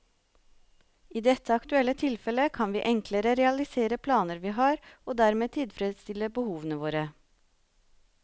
I dette aktuelle tilfellet kan vi enklere realisere planer vi har, og dermed tilfredsstille behovene våre.